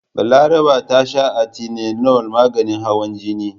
Balaraba ta sha Atenolol maganin hawan jini jiya.